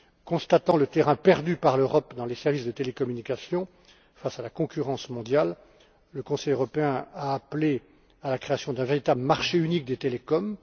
Constatant le terrain perdu par l'Europe dans les services de télécommunication face à la concurrence mondiale, le Conseil européen a appelé à la création d'un véritable marché unique des télécoms.